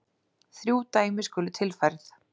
Þrjú dæmi skulu tilfærð.